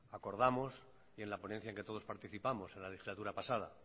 acordamos y en la ponencia en que todos participamos en la legislatura pasada